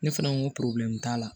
Ne fana ko t'a la